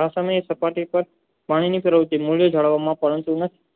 આ સમયે થતા થતા